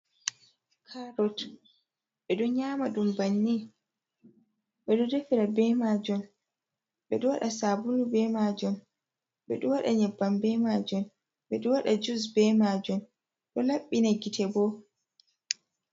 Karrott ɓe ɗon nyama ɗum banni. Beɗo ɗefira bemajon. Beɗo waɗa sabulu be majon. Beɗo waɗa nyibban bemajon. Beɗo waɗa jus bemajon. Ɗo labbina gite bo.